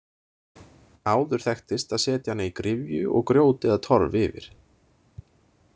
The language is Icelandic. Áður þekktist að setja hana í gryfju og grjót eða torf yfir.